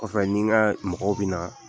Kɔfɛ n n'i ka mɔgɔw bɛ na